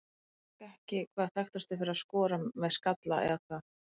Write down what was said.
Þú ert kannski ekki hvað þekktastur fyrir að skora með skalla eða hvað?